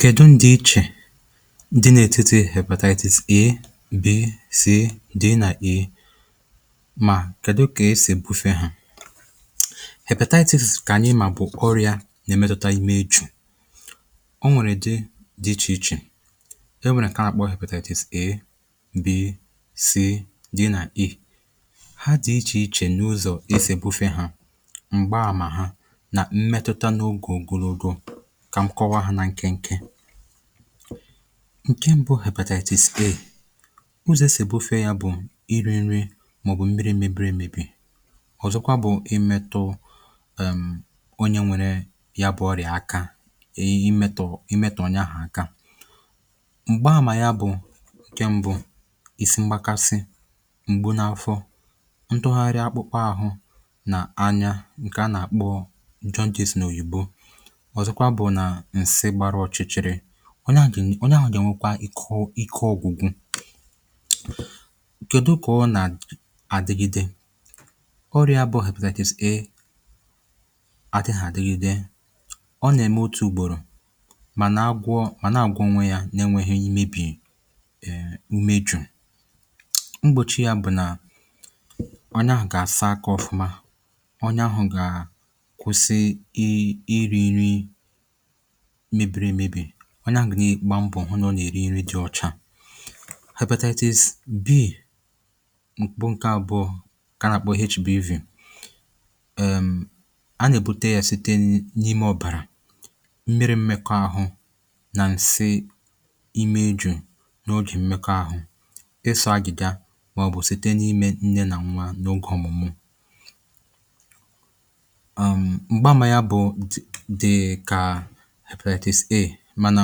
kèdu ndị ichè dị nà-ètiti hepètatis a,b,c,d nà e mà kèdu kà esì èbufė hà hèpètatis kà ànyị mà bụ̀ ọrị̇ȧ na-èmètụta imė echù. ọ nwèrè dị dị ichè ichè. e nwèrè nke a n'akpọ hepètatis a, b, c, d, na e. ha dị ichè ichè n’ụzọ̀ e sì bufė hȧ m̀gba àmà ha na mmetụta n'oge okoroko kà nkọwa hȧ nà nkenke nkè mbụ̇ bu hepatatis a ụzọ̀ esì bufee ya bụ̀ iri̇ nri mà ọ̀ bụ̀ mmiri̇ mebiri emebi. ọ̀zọkwa bụ̇ imetụ onye nwere ya bụ̇ ọrịà aka ihe imetụ̀ imetụ̀ ọ ya ahụ̀ aka. m̀gbaamà ya bụ̇ nkè mbu ị̇sị mgbakasị, m̀gbu n’afọ, ntụgharị akpụkpọ àhụ nà anya nke a nà-àkpọ njọngịs nà oyìbo ọ̀zọkwa bụ̀ nà ǹsị gbara ọ̀chịchị̀rị̀ onye ahụ̀ gà-ènwekwa ike ọ̇gụ̀gụ̀ kèdu kụọ nà àdịgide ọrịa bụ̇ hepètatis a àdịhà àdịgide ọ nà-ème otù ùgbòrò mà na-agwọ mà na-àgwọ onwe yȧ n’enwėghi imėbì umeju̇. mgbòchi yȧ bụ̀ nà onye ahụ̀ gà-àsa aka ọ̀fụma onye ahụ̀ gà kwụ̀sị iri nri mèbìrì emebi̇ ọ nà-àgụ̀nị gbaa mbọ̀ hụ nà ọ nà-èri nri di ọ̀cha. hepètatis b mkpụ ǹke àbụọ ka nà-àkpọ hbv. a nà-èbute ya site n’ime ọ̀bàrà, mmiri mmekọ àhụ nà ǹsi ime ju̇ n’ogè mmekọ àhụ ịsọ̇ agìga màọbụ̀ site n’ime nne nà nwa n’ogė ọ̀mụ̀mụ̀. Mgbanwe ya dika hepètatis a mànà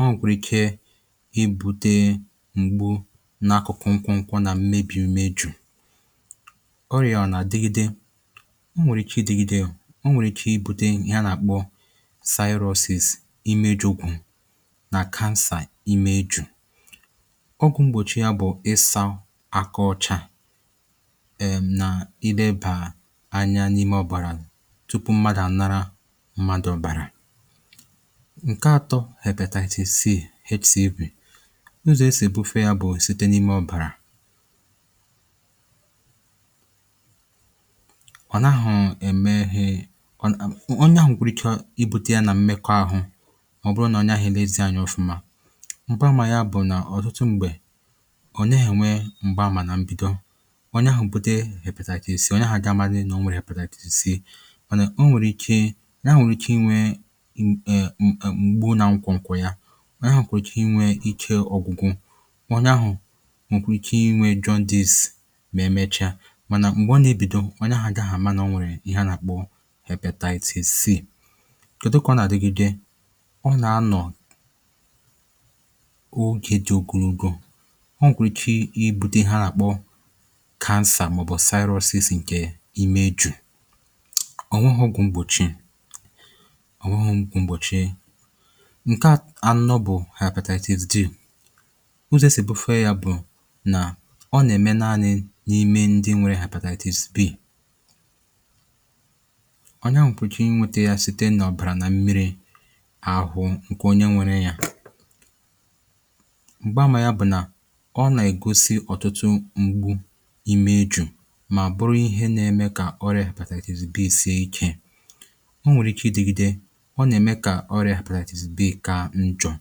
ọ ọ̀gwụ̀rụ̀ ike i bute ǹgbu n’akụ̀kụ̀ nkwụ̇ nkwụ nà mmebì imeju̇. ọrị̀a nà dịgịde ọ nwèrè ike idigide ọ nwèrè ike i bùde ihe a nà-àkpọ sirosis imeju̇ gwụ̇ nà kansà imeju̇. ọgwụ̀ mgbòchi ya bụ̀ ịsa akọ̇chà èm nà ilebà anya n’ime ọ̀bàrà tupu mmadù à nara mmadù ọ̀bàrà. ǹke atọ hepètatis c hcv- ụzọ̀ esì ebufe ya bụ̀ site n’ime ọ̀bàrà n’akwụkwọ̀ ya anya ahụ̀ kwùrù inwe ike ọ̀gwụgụ anya ahụ̀ mọ̀kụ̀ ike inwe jandice mà na-emechaa mànà m̀gbè ọ nà-ebìdo anya ahụ̀ àma nà ọ nwèrè ihe a nà-àkpọ hepètatis c. ụ̀dị kà ọ nà-àdụgide ọ nà-anọ̀ ogė dị ogologo o gwùrùchi i bude ha nà-àkpọ kansà mà ọ̀ bụ̀ cyrus is ǹkè imeju̇. O nweghị ọgwụ mgbochi. ǹkẹ anọ bụ̀ hepètatis d- ụzọ e sì ebufe ya bụ̀ nà ọ nà ẹ̀mẹ naanị n’ime ndị nwėrė hepètatis b. ọnye àhu kwesịrị inwėtė ya site nà ọ̀bàrà nà mmiri̇ ahụ ǹkẹ̀ onye nwėrė ya m̀gba àmà ya bụ̀ nà ọ nà ègosi ọ̀tụtụ ngbu imeju̇ mà bụrụ ihe nà ẹmẹ kà ọrị̇ hepètatis bị isie ichė o nwèrè iche idigide ọrịà arthritis b ka njọ̀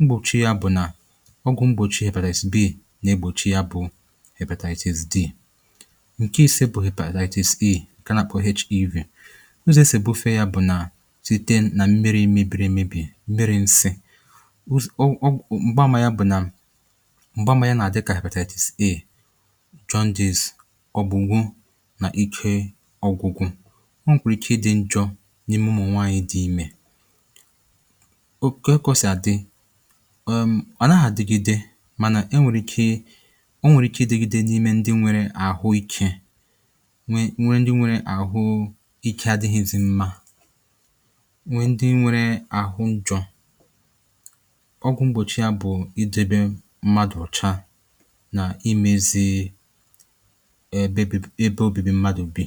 mgbòchie bụ̀ nà ọgwụ̀ mgbòchie arthritis b na-egbòchi ya bụ̇ arthritis d ǹke ise bụ̀ arthritis e ǹkè na ph ev ozė sèbufe ya bụ̀ nà site nà m̀miri mebiri emėbì, m̀miri nsi̇ ụzụ̀ ọ ọ gbaa mà ya bụ̀ nà m̀gbaa mànyà na-àdị kà arthritis a john dis ọgbụ̀gwụ nà ike ọgwụgwụ̇ ọ wụ̀rụ̀ ike ịdị njọ̇ n’ime ụmụ nwàànyị dị imė oke kọ̇sị̀ àdị ẹ̀m ọ̀naghà digide mànà ẹ nwẹ̀rẹ̀ ike ọ nwẹ̀rẹ ike idėgide n’ime ndị nwẹrẹ àhụ ikė nwe nwẹ ndị nwẹrẹ àhụ ike adịghịzi mma nwẹ ndị nwẹrẹ àhụ ndịọ ọgwụ̀ mgbòchi à bụ̀ i debe mmadụ̀ ọ̀cha nà imẹzi ẹ ẹbẹ obìbi mmadụ̀ bi